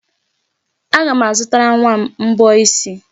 Aga m azụtara nwa m mbọ isi.